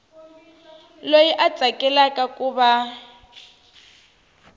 loyi a tsakelaka ku va